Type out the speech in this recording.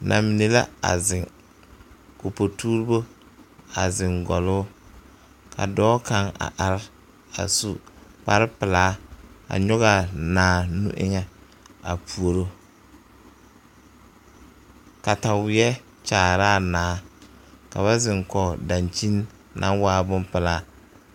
Namine la a zeŋ ka o potuurobo a zeŋ gɔloo ka dɔɔ kaŋ a are a su kpare pelaa a nyɔge a naa nu eŋa a puoro kataweɛ kyaare la a naa ka ba zeŋ kɔge dakyini naŋ waa boŋ pelaa.